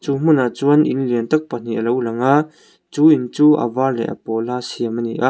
hmunah chuan in lian tak pahnih a lo lang a chu in chu a var leh a pawl a siam a ni a .